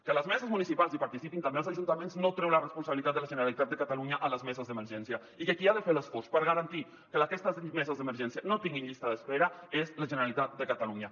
que a les meses municipals hi participin també els ajuntaments no treu la responsabilitat de la generalitat de catalunya a les meses d’emergència i que qui ha de fer l’esforç per garantir que aquestes meses d’emergència no tinguin llista d’espera és la generalitat de catalunya